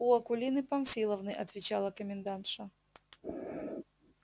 у акулины памфиловны отвечала комендантша